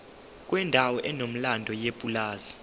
kwendawo enomlando yepulazi